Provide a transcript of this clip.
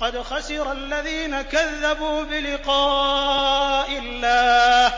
قَدْ خَسِرَ الَّذِينَ كَذَّبُوا بِلِقَاءِ اللَّهِ ۖ